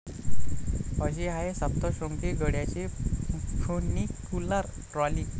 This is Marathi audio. अशी आहे सप्तश्रृंगी गडाची फ्युनिक्युलर ट्रॉली!